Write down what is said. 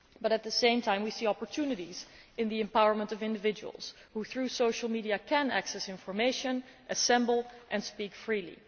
At the same time we see opportunities in the empowerment of individuals who, through social media, can access information, assemble and speak freely.